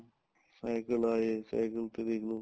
cycle ਆਏ cycle ਤੇ ਦੇਖਲੋ